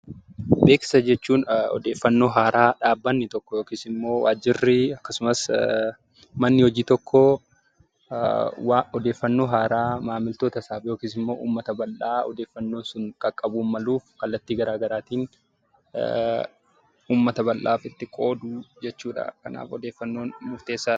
Beeksisa jechuun odeeffannoo haaraa dhaabbanni tokko yookiin waajirri akkasumas manni hojii tokko odeeffannoo haaraa maamiltoota isaaf yookiis uummata bal'aa odeeffannoon sun qaqqabuun maluuf kallattii garaagaraatiin uummata bal'aaf kan itti qoodu jechuudha kanaaf odeeffannoon murteessaadha.